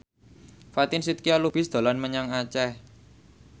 Fatin Shidqia Lubis dolan menyang Aceh